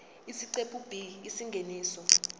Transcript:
isiqephu b isingeniso